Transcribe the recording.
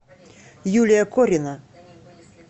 юлия корина